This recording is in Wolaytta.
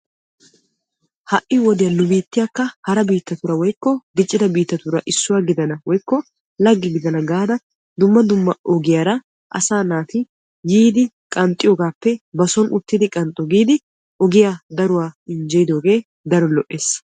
ha'[i wodiya nu biittiyakka haraa biittatuura woykko diccida biittatuura issuwa gidana woykko lagge giddana gaada dumma dumma ogiyaara asaa naatiyiidi qanxxiyoogappe ba soon uttidi qanxxo giidi ogiyaa daruwaa injjeyidooge daro lo''ees.